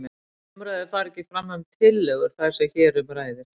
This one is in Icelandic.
Umræður fara ekki fram um tillögur þær sem hér um ræðir.